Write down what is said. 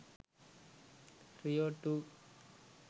rio 2